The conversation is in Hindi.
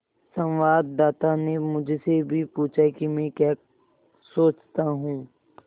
संवाददाता ने मुझसे भी पूछा कि मैं क्या सोचता हूँ